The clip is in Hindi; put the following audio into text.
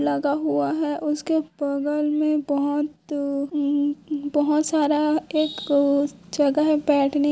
लगा हुआ है उसके बगल मे बहुत अ बहुत सारा एक जगह है बैठने--